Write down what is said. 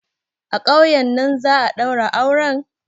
A ƙauyen nan za'a ɗaura auren?